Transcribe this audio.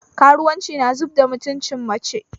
Karuwanci na zubda mutunci mace